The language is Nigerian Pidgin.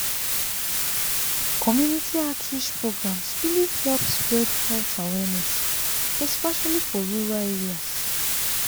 community outreach programs really help spread health awareness especially for rural areas.